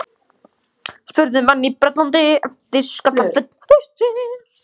spurðu menn í Bretlandi eftir skakkaföll haustsins.